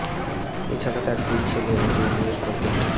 এ ছাড়া তাঁর দুই ছেলে ও দুই মেয়ের প্রত্যেকে